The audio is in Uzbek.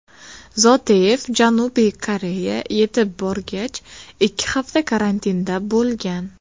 Zoteyev Janubiy Koreya yetib borgach, ikki hafta karantinda bo‘lgan.